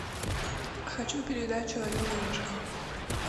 хочу передачу орел и решка